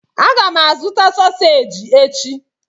Aga m azụta soseji echi.